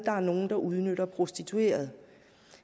er nogen der udnytter de prostituerede